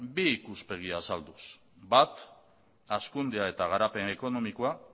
bi ikuspegi azalduz bat hazkundea eta garapen ekonomikoa